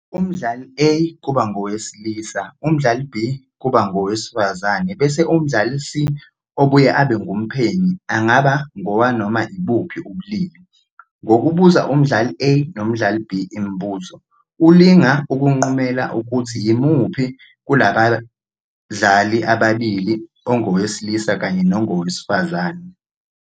Umdlali A kuba ngowesilisa, umdlali B kuba ngowesifazane bese umdlali C, obuye abe ngumphenyi, angaba ngowanoma ibuphi ubulili. Ngokubuza umdlali A nomdlali B imibuzo, ulinga ukunqumela ukuthi yimuphi kulabadlali ababili ongowesilisa kanye nongowesifazane.